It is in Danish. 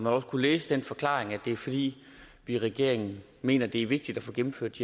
også kunne læse den forklaring at det er fordi vi i regeringen mener det er vigtigt at få gennemført